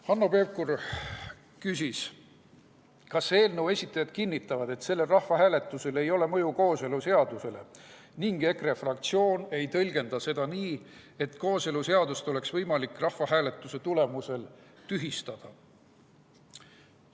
Hanno Pevkur küsis, kas eelnõu esitajad kinnitavad, et sellel rahvahääletusel ei ole mõju kooseluseadusele ning EKRE fraktsioon ei tõlgenda seda nii, et kooseluseadust oleks võimalik rahvahääletuse tulemusel tühistada.